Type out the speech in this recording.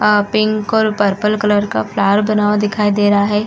आ pink और purple colour का flower बना हुआ दिखाई दे रहा है।